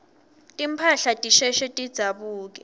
timphahla tisheshe tidzabuke